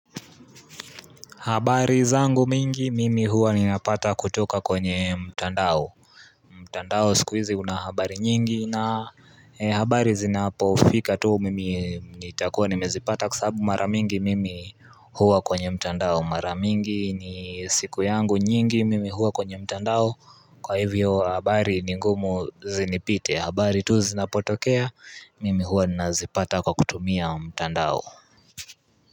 Habari zangu mingi mimi huwa ninapata kutoka kwenye mtandao mtandao siku izi una habari nyingi na habari zinapofika tuu mimi nitakuwa nimezipata kwa sababu mara mingi mimi huwa kwenye mtandao Maramingi ni siku yangu nyingi mimi huwa kwenye mtandao kwa hivyo habari ni ngumu zinipite habari tu zinapotokea mimi huwa nazipata kwa kutumia mtandao.